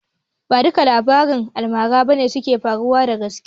Ba duka labaran almara bane suka faru da gaske